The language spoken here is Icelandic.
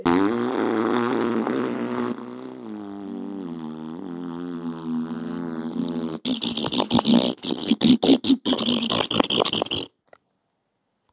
Á sama tíma sameinar hann harla mismunandi viðhorf og skoðanir.